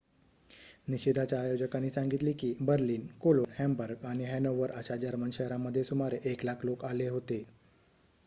निषेधाच्या आयोजकांनी सांगितले की बर्लिन कोलोन हॅम्बर्ग आणि हॅनोवर अशा जर्मन शहरांमध्ये सुमारे 100,000 लोकं आले होते